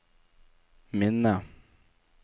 minne